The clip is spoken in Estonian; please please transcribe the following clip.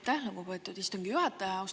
Aitäh, lugupeetud istungi juhataja!